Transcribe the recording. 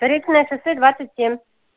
заречное шоссе двадцать семь